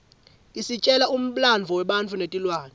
isitjela umlandvo webantfu netilwane